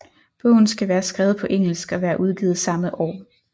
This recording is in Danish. Bogen skal være skrevet på engelsk og være udgivet samme år